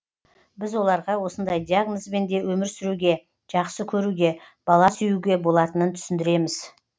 біз оларға осындай диагнозбен де өмір сүруге жақсы көруге бала сүюге болатынын түсіндіреміз